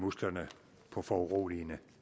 musklerne på foruroligende